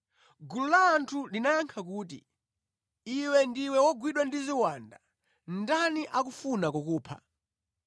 Gulu la anthu linayankha kuti, “Iwe ndiye wagwidwa ndi ziwanda. Ndani akufuna kukupha?”